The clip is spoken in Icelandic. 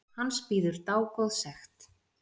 Hans bíður dágóð sekt.